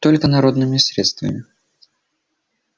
только народными средствами